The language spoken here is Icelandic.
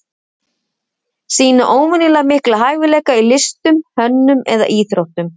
Sýna óvenjulega mikla hæfileika í listum, hönnun eða íþróttum.